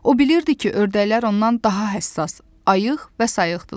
O bilirdi ki, ördəklər ondan daha həssas, ayıq və sayıqdılar.